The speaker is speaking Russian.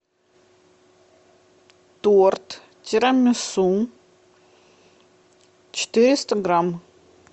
торт тирамису четыреста грамм